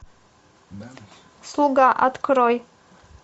слуга открой